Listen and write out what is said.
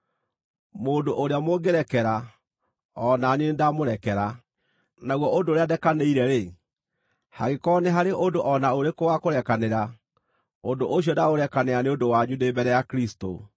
Mũndũ ũrĩa mũngĩrekera, o na niĩ nĩndamũrekera. Naguo ũndũ ũrĩa ndekanĩire-rĩ (hangĩkorwo nĩ haarĩ ũndũ o na ũrĩkũ wa kũrekanĩra), ũndũ ũcio ndaũrekanĩra nĩ ũndũ wanyu ndĩ mbere ya Kristũ,